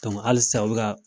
halisa a bi ka.